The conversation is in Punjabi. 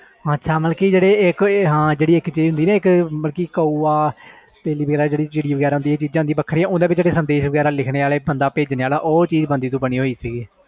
ਅੱਛਾ ਜਿਵੇ ਇਕ ਚੀਜ਼ ਕਿਸੇ ਤੋਂ ਬੇਜਾਣੀ ਜਿਵੇ ਕੈਵੋ ਉਹ ਚੀਜ਼ ਬੰਦੇ ਤੋਂ ਬਣੇ ਸੀ